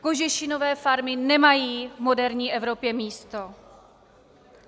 Kožešinové farmy nemají v moderní Evropě místo.